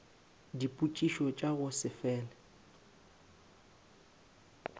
dipotšišo tša go se fele